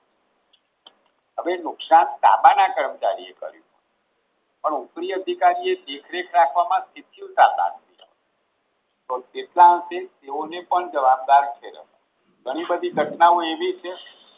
હવે નુકસાન તાબાના કર્મચારીએ કર્યું પણ ઉપરી અધિકારી એ દેખરેખ રાખવામાં તો કેટલા અંશે તેઓને પણ જવાબદાર ઘણી બધી ઘટનાઓ એવી છે